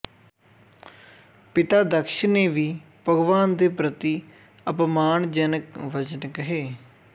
ਪਿਤਾ ਦਕਸ਼ ਨੇ ਵੀ ਭਗਵਾਨ ਦੇ ਪ੍ਰਤੀ ਅਪਮਾਨਜਨਕ ਵਚਨ ਕਹੇ